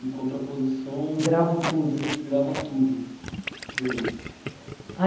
Em contraposição. Gravo tudo. Você grava tudo...e aí?